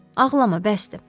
Ağlama, bəsdir.